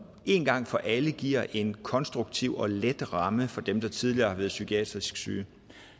en gang for alle giver en konstruktiv og let ramme for dem der tidligere har været psykisk syge